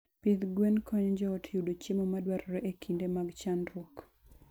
Pidh gwen konyo joot yudo chiemo madwarore e kinde mag chandruok.